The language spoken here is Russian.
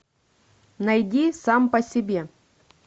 найди сам по себе